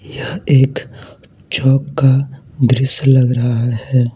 यह एक झोंका का दृश्य लग रहा है।